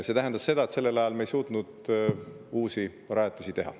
See tähendas seda, et sellel ajal me ei suutnud uusi rajatisi teha.